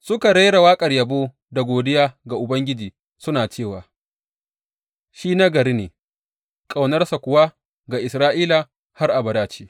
Suka rera waƙar yabo da godiya ga Ubangiji, suna cewa, Shi nagari ne; ƙaunarsa kuwa ga Isra’ila har abada ce.